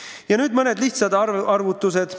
Ja nüüd mõned lihtsad arvutused.